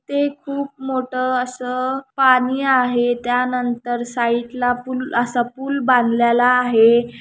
ते खूप मोट्ठ अस पानी आहे त्यानंतर साइट ला पूल असा पूल बांधलेला आहे.